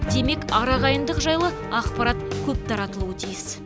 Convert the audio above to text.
демек ар ағайындық жайлы ақпарат көп таратылуы тиіс